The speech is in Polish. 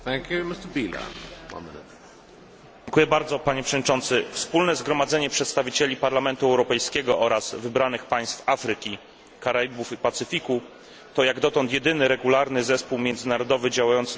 Wspólne Zgromadzenie przedstawicieli Parlamentu Europejskiego oraz wybranych państw Afryki, Karaibów i Pacyfiku to jak dotąd jedyny regularny zespół międzynarodowy, działający na rzecz promowania współzależności Północy i Południa.